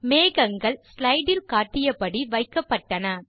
மேகங்கள் ஸ்லைடு இல் காட்டியபடி வைக்கப்பட்டன